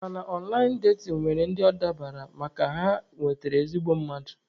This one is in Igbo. Mana ọnlaịn datin nwere ndị ọ dabaara makana ha nwetara ezigbo mmadụ.